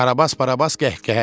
Karabas Barabas qəhqəhə çəkdi.